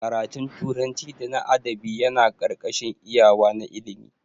Ƙaratun turanci da na adabi Yana karkashin iyawa na ilimi.